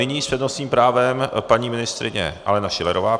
Nyní s přednostním právem paní ministryně Alena Schillerová.